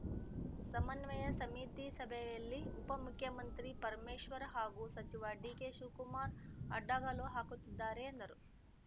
ಸಮನ್ವಯ ಸಮಿತಿ ಸಭೆಯಲ್ಲಿ ಉಪಮುಖ್ಯಮಂತ್ರಿ ಪರಮೇಶ್ವರ್‌ ಹಾಗೂ ಸಚಿವ ಡಿಕೆಶಿವಕುಮಾರ್‌ ಅಡ್ಡಗಾಲು ಹಾಕುತ್ತಿದ್ದಾರೆ ಎಂದರು